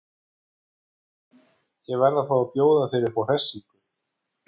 Já en. ég verð að fá að bjóða þér upp á hressingu!